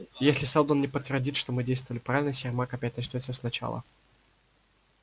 если сэлдон не подтвердит что мы действовали правильно сермак опять начнёт всё сначала